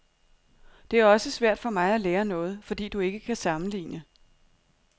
Det er også svært for mig at lære noget, fordi du ikke kan sammenligne.